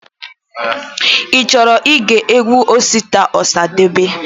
Ichọrọ ige egwu Osita Osadebe?